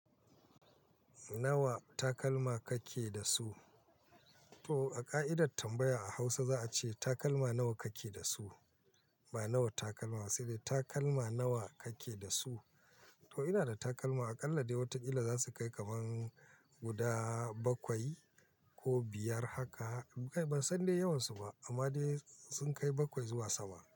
Nawa takalma kake da su? To a ƙa'idar tambaya a Hausa za a ce takalma nawa kake da su? Ba nawa takalma ba, sai dai takalma nawa kake da su? To ina da takalma aƙalla dai wataƙila za su kai kamar guda bakwai ko biyar haka. Ban san dai yawansu ba amma dai sun kai bakwai zuwa sama.